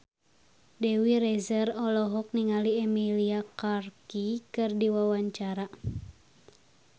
Dewi Rezer olohok ningali Emilia Clarke keur diwawancara